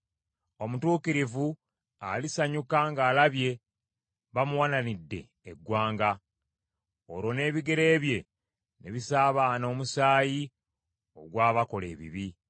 Omutuukirivu alisanyuka ng’alabye bamuwalanidde eggwanga, olwo n’ebigere bye ne bisaabaana omusaayi ogw’abakola ebibi.